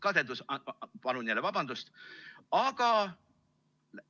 Kadedus – palun jälle vabandust!